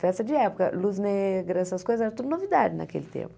Festa de época, luz negra, essas coisas, era tudo novidade naquele tempo.